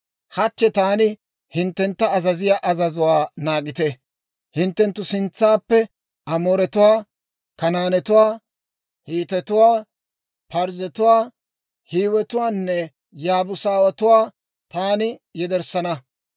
Hachche taani hinttentta azaziyaa azazuwaa naagite; hinttenttu sintsaappe Amooretuwaa, Kanaanetuwaa, Hiitetuwaa, Parzzetuwaa, Hiiwetuwaanne Yaabuusatuwaa taani yederssana.